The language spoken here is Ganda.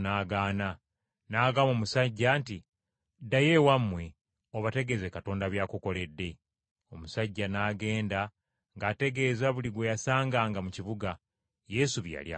N’agamba omusajja nti, “Ddayo ewammwe obategeeze Katonda by’akukoledde.” Omusajja n’agenda ng’ategeeza buli gwe yasanganga mu kibuga, Yesu bye yali amukoledde.